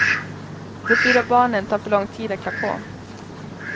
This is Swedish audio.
De fyra barnen tar för lång tid att klä på.